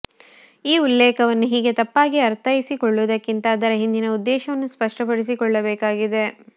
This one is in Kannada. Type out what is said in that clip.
ಈ ಉಲ್ಲೇಖವನ್ನು ಹೀಗೆ ತಪ್ಪಾಗಿ ಅರ್ಥೈಸಿಕೊಳ್ಳುವುದಕ್ಕಿಂತ ಅದರ ಹಿಂದಿನ ಉದ್ದೇಶವನ್ನು ಸ್ಪಷ್ಟಪಡಿಸಿಕೊಳ್ಳಬೇಕಾಗಿದೆ